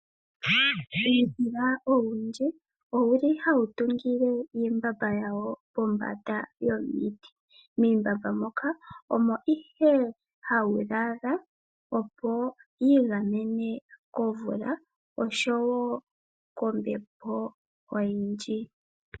Uudhila owundji owu li hawu tungile iimbamba yawo pombanda yomiti. Miimbamba moka omo ihe hawu lala, opo wiigamene komvula, noshowo kombepo oyindji.